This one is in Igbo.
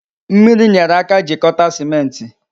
Mmiri nyere aka jikọta sịmentị